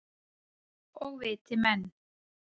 Og viti menn.